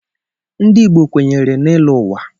Ndị Igbo kwenyere n'ịlọ ụwa.